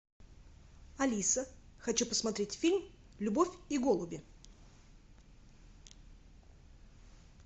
алиса хочу посмотреть фильм любовь и голуби